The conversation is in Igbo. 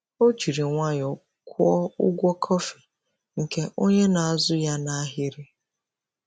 Ọ jiri nwayọọ kwụọ ụgwọ kọfị nke onye nọ n’azụ ya n’ahịrị.